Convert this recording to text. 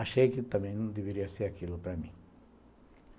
Achei que também não deveria ser aquilo para mim.